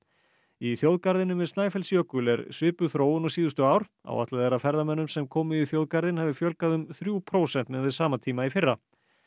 í þjóðgarðinum við Snæfellsjökul er svipuð þróun og síðustu ár áætlað er að ferðamönnum sem komu í þjóðgarðinn hafi fjölgað um þrjú prósent miðað við sama tíma í fyrra